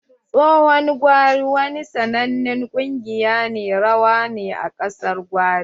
Tsohon gwari wani sanannen kungiƴar rawa ne a ƙasar gwari.